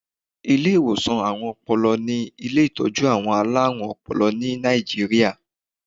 Ilé ìwòsàn àrùn-Ọpọlọ ni ilé ìtọ́jú àwọn alárùn-ọpọlọ ní Nàìjíríà.